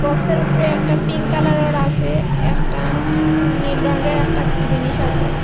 বক্সের উপরে একটা পিঙ্ক কালারোর আসে একটা নীল রঙ্গের একটা জিনিস আসে।